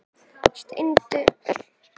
Steindu gluggarnir eru alveg dásamlega fallegir!